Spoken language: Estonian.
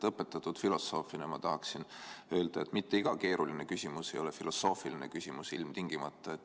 Õpetatud filosoofina ma tahaksin öelda, et mitte iga keeruline küsimus ei ole ilmtingimata filosoofiline küsimus.